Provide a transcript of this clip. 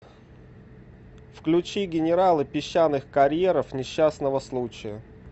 включи генералы песчаных карьеров несчастного случая